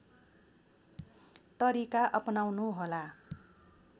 तरिका अपनाउनुहोला